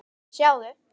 Sjáðu